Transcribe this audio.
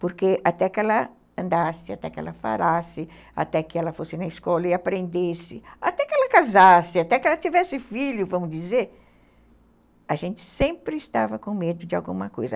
Porque até que ela andasse, até que ela falasse, até que ela fosse na escola e aprendesse, até que ela casasse, até que ela tivesse filho, vamos dizer, a gente sempre estava com medo de alguma coisa.